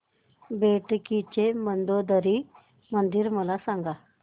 बेटकी चे मंदोदरी मंदिर मला सांग